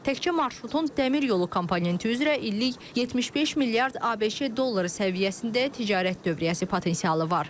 Təkcə marşrutun dəmir yolu komponenti üzrə illik 75 milyard ABŞ dolları səviyyəsində ticarət dövriyyəsi potensialı var.